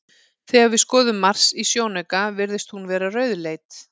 Þegar við skoðum Mars í sjónauka virðist hún vera rauðleit.